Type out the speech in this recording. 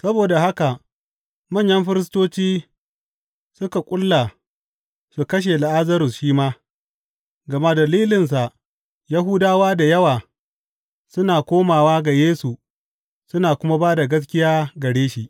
Saboda haka manyan firistoci suka ƙulla su kashe Lazarus shi ma, gama dalilinsa Yahudawa da yawa suna komawa ga Yesu suna kuma ba da gaskiya gare shi.